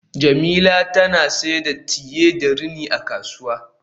Jemila tana siyar da tiye da rini a kasuwa